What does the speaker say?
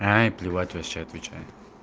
аа плевать вообще отвечаю